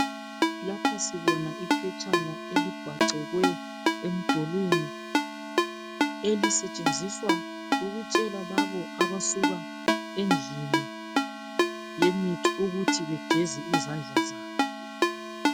Lapha sibona iphetshana elibhacelwe emdulwini elisetshenziswa ukutshela laba abasuka endlini yemithi ukuthi begeze izandla zabo.